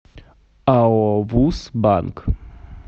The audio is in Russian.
ао вуз банк